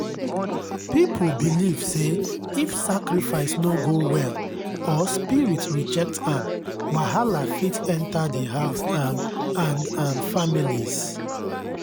people believe say if sacrifice no go well or spirit reject am wahala fit enter the house um and um families